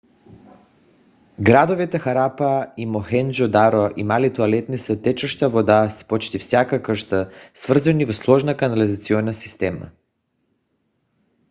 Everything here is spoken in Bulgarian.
градовете харапа и мохенджо - даро имали тоалетни с течаща вода в почти всяка къща свързани в сложна канализационна система